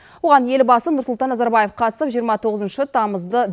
оған елбасы нұрсұлтан назарбаев қатысып жиырма тоғызыншы тамызды